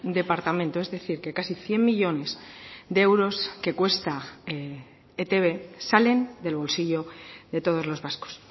departamento es decir que casi cien millónes de euros que cuesta etb salen del bolsillo de todos los vascos